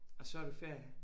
Og så har du ferie